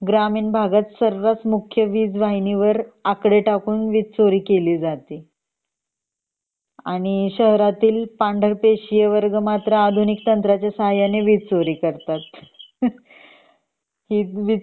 ग्रामीण भगत सर्रास मुख्य वीज वाहिनीवर आकडे टाकून वीज चोरी केली जाते आणि शहरातील पांढर पेशी वर्ग मात्र आधुनिक तंत्राच्या सहाय्याने वीज चोरी करतात . हुहह ही वीज